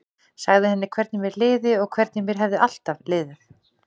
Sagði henni hvernig mér liði og hvernig mér hefði alltaf liðið.